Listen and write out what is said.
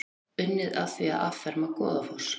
Unnið að því að afferma Goðafoss